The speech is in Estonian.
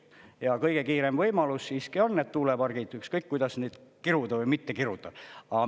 Ja kõige kiirem võimalus siiski on need tuulepargid, ükskõik kuidas neid kiruda või mitte kiruda.